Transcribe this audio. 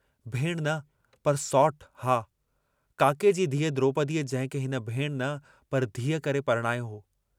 भेणु न पर सौटु हा, काके जी धीअ द्रोपदीअ जंहिंखे हिन भेणु न पर धीअ करे परणायो हो।